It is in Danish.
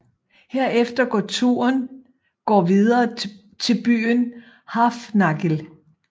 Herefter går turen går videre til byen Hrafnagil